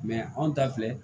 anw ta filɛ